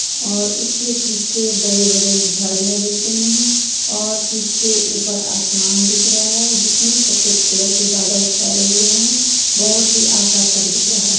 और उसके पीछे बड़े - बड़े झड़ियां दिख रही हैं और पीछे ऊपर आसमान दिख रहा है जिसमे सफेद कलर के बादल छाए हुए हैं बहुत ही आकर्षक दिख रहा है ।